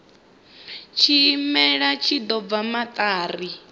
tshimela tshi ḓo bva maṱari